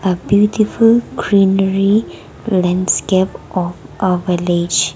a beautiful greenery landscape of a village.